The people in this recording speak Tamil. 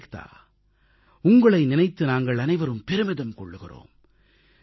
ஏக்தா உங்களை நினைத்து நாங்கள் அனைவரும் பெருமிதம் கொள்கிறோம்